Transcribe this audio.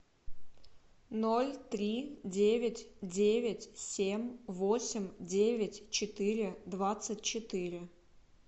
ноль три девять девять семь восемь девять четыре двадцать четыре